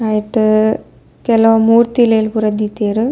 ಐಟ್ ಕೆಲವು ಮೂರ್ತ್ಲಿಲೆಲ್ ಪೂರ ದೀತೆರ್.